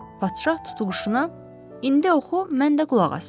Padşah tutuquşuna, indi oxu mən də qulaq asım.